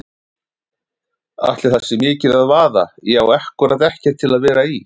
Ætli það sé mikið að vaða, ég á ákkúrat ekkert til að vera í.